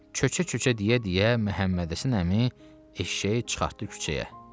Köçə köçə deyə-deyə Məhəmmədhəsən əmi eşşəyi çıxartdı küçəyə.